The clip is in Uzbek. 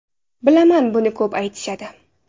Bilaman, buni ko‘p aytishadi.